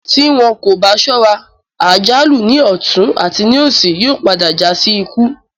Tí wọn kò bá sọ́ra, àjálù ní ọ̀tún àti ní òsì yóò padà já sí ikú